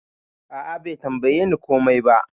A'a Bai tambaye ni komai ba.